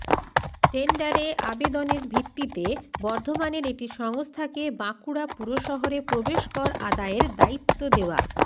টেন্ডারে আবেদনের ভিত্তিতে বর্ধমানের একটি সংস্থাকে বাঁকুড়া পুরশহরে প্রবেশ কর আদায়ের দায়িত্ব দেওয়া